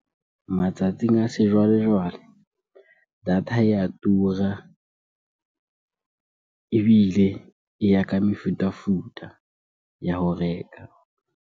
Matsatsing a sejwalejwale data ya tura ebile e ya ka mefutafuta ya ho reka.